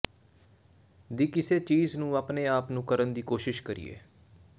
ਦੀ ਕਿਸੇ ਚੀਜ਼ ਨੂੰ ਆਪਣੇ ਆਪ ਨੂੰ ਕਰਨ ਦੀ ਕੋਸ਼ਿਸ਼ ਕਰੀਏ